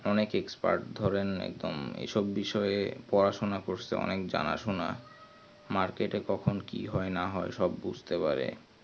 অনেক expert ধরেন একদম এসব বিষয় পড়াশোনা করছে অনেক জানাসোনা market এ কখন কি হয় না হয় সব বুঝতে পারে